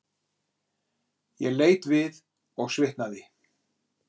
Ég leit við og svitnaði.